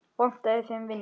Vantaði þeim vinnu?